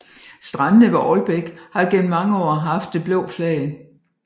Strandene ved Ålbæk har gennem mange år haft det blå flag